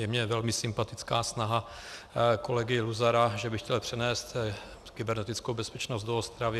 Je mně velmi sympatická snaha kolegy Luzara, že by chtěl přenést kybernetickou bezpečnost do Ostravy.